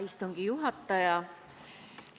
Hea istungi juhataja!